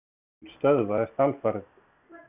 Liturinn stöðvast alfarið.